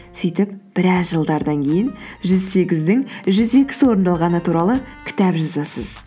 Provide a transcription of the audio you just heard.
сөйтіп біраз жылдардан кейін жүз сегіздің жүз екісі орындалғаны туралы кітап жазасыз